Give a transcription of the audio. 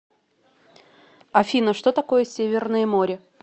афина что такое северное море